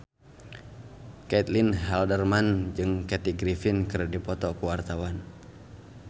Caitlin Halderman jeung Kathy Griffin keur dipoto ku wartawan